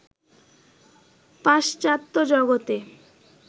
পাশ্চাত্য জগতে